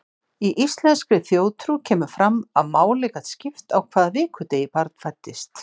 Í íslenskri þjóðtrú kemur fram að máli gat skipt á hvaða vikudegi barn fæddist.